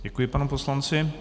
Děkuji, panu poslanci.